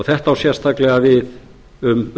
þetta á sérstaklega við um